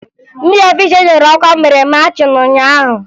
Ndị ọfisha enyere ọkwa mere machịn ụnyaahụ